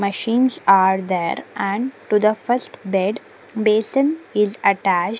machines are there and to the first bed basin is attached.